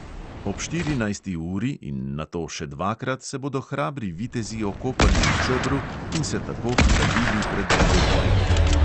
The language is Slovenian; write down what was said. Ob štirinajsti uri in nato še dvakrat se bodo hrabri vitezi okopali v čebru in se tako hladili pred dvobojem.